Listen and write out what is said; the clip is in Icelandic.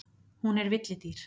Hún er villidýr.